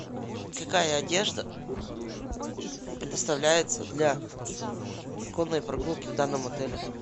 какая одежда предоставляется для конной прогулки в данном отеле